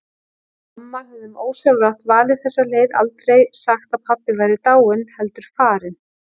Við mamma höfðum ósjálfrátt valið þessa leið, aldrei sagt að pabbi væri dáinn, heldur farinn.